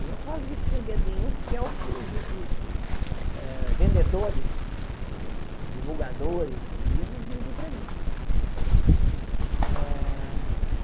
E eu falo isso sem medo nenhum, porque é o que os os os vendedores, os divulgadores dos livros dizem para mim.